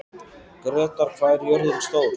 Grétar, hvað er jörðin stór?